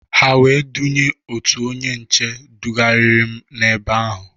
Ha wee dunye otu onye nche dugarịrị m na-ebe ahụ.